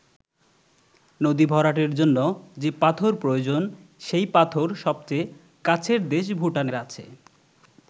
নদী ভরাটের জন্য যে পাথর প্রয়োজন সেই পাথর সবচেয়ে কাছের দেশ ভুটানের আছে।